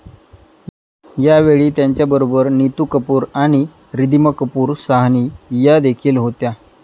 यावेळी त्यांच्याबरोबर नीतू कपूर आणि रिधीमा कपूर साहनी या देखील होत्या.